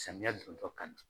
Samiyɛ don tɔ ka